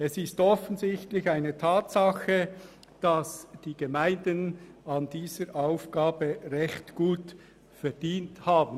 Es ist eine Tatsache, dass die Gemeinden an dieser Aufgabe recht gut verdient haben.